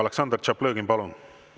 Aleksandr Tšaplõgin, palun!